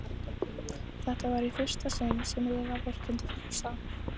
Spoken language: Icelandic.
Þetta var í fyrsta sinn sem Lilla vorkenndi Fúsa.